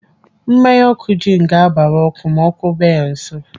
Mmanya ọkụ jin ga-abara ọkụ ma ọkụ bịa ya nso.